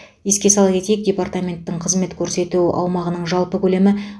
еске сала кетейік департаменттің қызмет көрсету аумағының жалпы көлемі